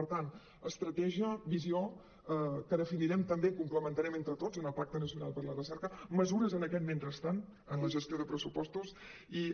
per tant estratègia visió que definirem també complementarem entre tots en el pacte nacional per a la recerca mesures en aquest mentrestant en la gestió de pres·supostos i